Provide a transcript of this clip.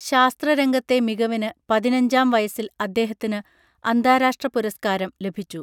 ശാസ്ത്ര രംഗത്തെ മികവിന് പതിനഞ്ചാം വയസ്സിൽ അദ്ദേഹത്തിന് അന്താരാഷ്ട്ര പുരസ്കാരം ലഭിച്ചു